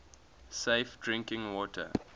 safe drinking water